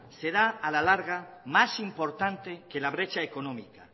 será la larga más importante que la brecha económica